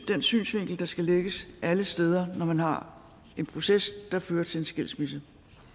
den synsvinkel der skal lægges alle steder når man har en proces der fører til en skilsmisse